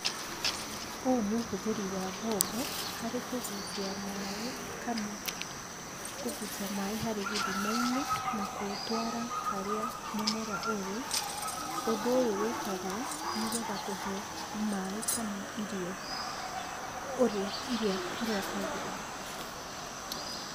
Ũũ nĩ ũhũthĩri wa mbombo harĩ kũgucia maaĩ kana kũgucia maaĩ harĩ gĩthima-inĩ na kũũtwara harĩa mũmera ũrĩ. Ũndũ ũyũ wĩkagwo, nĩgetha kũhe maaĩ kana irio ũrĩa kwagĩrĩire.